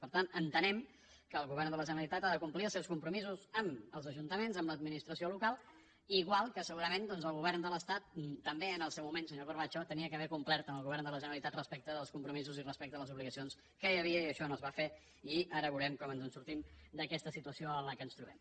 per tant entenem que el govern de la generalitat ha de complir els seus compromisos amb els ajuntaments amb l’administració local igual que segurament doncs el govern de l’estat també en el seu moment senyor cor·bacho hauria d’haver complert amb el govern de la ge·neralitat respecte als compromisos i respecte a les obli·gacions que hi havia i això no es va fer i ara veurem com ens en sortim d’aquesta situació en què ens trobem